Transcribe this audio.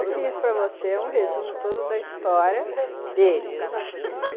Eu fiz para você um resumo todo da história dele.